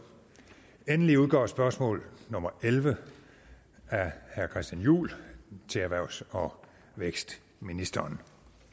endelig udgår spørgsmål nummer elleve af herre christian juhl til erhvervs og vækstministeren